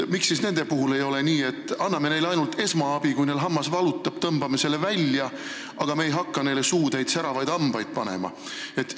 Miks siis ei ole nii, et anname neile ainult esmaabi, kui neil hammas valutab, tõmbame selle välja, aga me ei hakka neile suutäit säravaid hambaid panema?